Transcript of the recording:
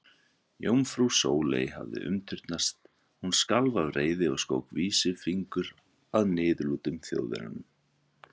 Jómfrú Sóley hafði umturnast, hún skalf af reiði og skók vísifingur að niðurlútum Þjóðverjanum.